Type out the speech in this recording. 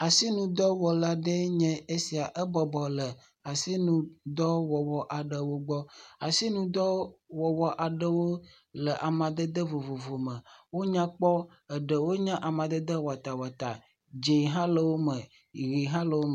Asinudɔwɔla aɖee nye esia ebɔbɔnɔ le asinudɔwɔwɔ aɖewo gbɔ, asinudɔwɔwɔ aɖewo le amadede vovovo me, wonya kpɔ eɖewo nye amadede watawata dzɛ̃ hã le wo me ʋi hã le wo me.